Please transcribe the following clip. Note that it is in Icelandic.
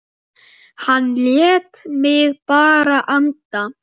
Hann lét mig bara anda.